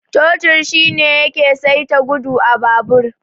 Totir shine yake saita gudu a babur.